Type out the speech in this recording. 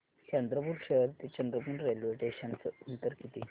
चंद्रपूर शहर ते चंद्रपुर रेल्वे स्टेशनचं अंतर किती